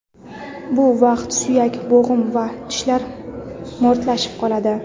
Bu vaqtda suyak, bo‘g‘im va tishlar mo‘rtlashib qoladi.